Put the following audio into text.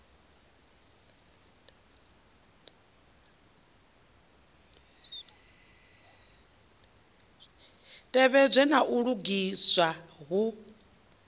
tevhedzwe na u lugiswa hu